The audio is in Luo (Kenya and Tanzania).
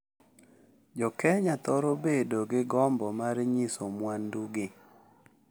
Jo Kenya thoro bedo gi gombo mar nyiso mwandu gi